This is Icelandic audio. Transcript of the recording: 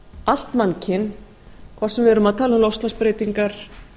allt mannkyn hvort sem við erum að tala um loftslagsbreytingar